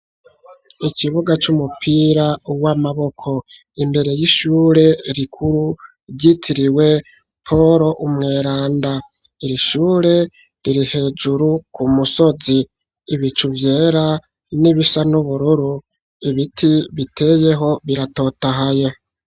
Ikibuga c'umupira w'amaboko imbere y'ishure rikuru ryitiriwe Poro umweranda, iri shure riri hejuru ku musozi, ibicu vyera n'ibisa n'ubururu, ibiti biteyeho biratotahaye.